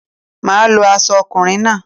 Máà lo aso okùnrin náà